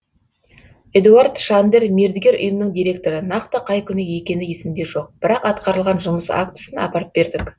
эдуард шандер мердігер ұйымның директоры нақты қай күні екені есімде жоқ бірақ атқарылған жұмыс актісін апарып бердік